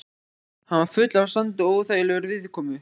Hann var fullur af sandi og óþægilegur viðkomu.